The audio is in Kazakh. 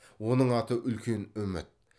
оның аты үлкен үміт